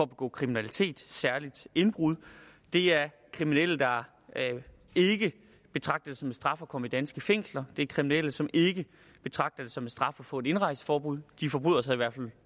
begå kriminalitet særlig indbrud det er kriminelle der ikke betragter det som en straf at komme i danske fængsler det er kriminelle som ikke betragter det som en straf at få et indrejseforbud de forbryder sig i hvert fald